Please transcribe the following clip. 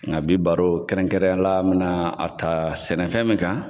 Nka bi baro kɛrɛn kɛrɛnya la an bɛ na a ta sɛnɛfɛn min kan.